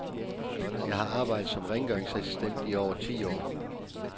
Jeg har arbejdet som rengøringsassistent i over ti år.